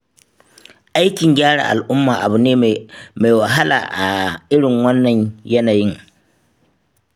Aikin gyara al'umma abu ne mai wahala a irin wannan yanayin.